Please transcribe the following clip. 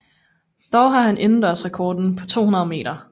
Dog har han indendørsrekorden på 200 meter